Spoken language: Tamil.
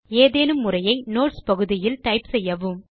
எதேனும் உரையை நோட்ஸ் பகுதியில் டைப் செய்யவும்